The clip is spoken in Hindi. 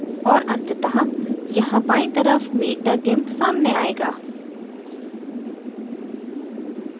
और अंततः यहाँ बायीं तरफ meet द gimp सामने आएगा